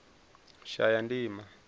shayandima